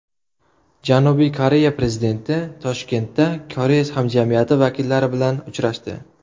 Janubiy Koreya prezidenti Toshkentda koreys hamjamiyati vakillari bilan uchrashdi.